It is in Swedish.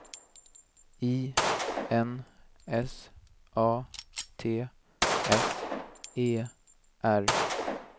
I N S A T S E R